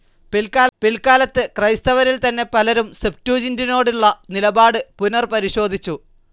പിൽക്കാലത്ത് ക്രൈസ്തവരിൽതന്നെ പലരും സെപ്റ്റൂജിൻ്റിനോടുള്ള നിലപാട് പുനർപരിശോധിച്ചു.